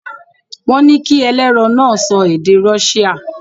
Wọ́n ní kí ẹlẹ́rọ̀ náà sọ èdè Rọ́ṣíà.